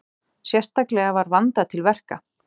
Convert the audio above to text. Sérstaklega var vandað til verka